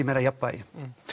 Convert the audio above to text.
meira jafnvægi